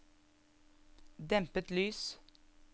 dempet lys